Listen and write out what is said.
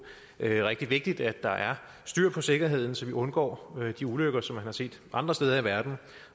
rigtig vigtigt at der er styr på sikkerheden så vi undgår de ulykker som man har set andre steder i verden og